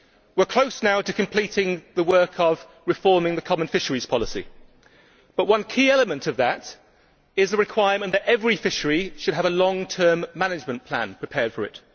We are now close to completing the work of reforming the common fisheries policy, but one key element of that is the requirement that every fishery should have a long term management plan prepared for it.